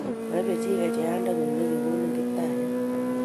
Moibe chi kecheyandeng'ung' nekigonin Kiptaiyat.